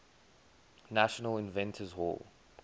national inventors hall